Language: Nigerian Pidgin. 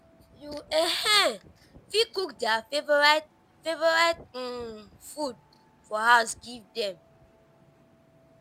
you um fit cook their favourite favourite um food for house give them